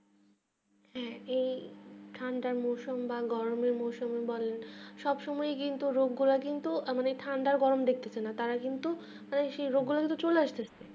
হ্যাঁ যে ঠান্ডার মরসুমে বা গরম মরসুম বা সব সময় কিন্তু আমাদের ঠান্ডা গরম দেখতেছে তারা কিন্তু যখন তখন চলে আসতেছে